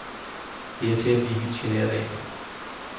Det er til at blive helt genert af.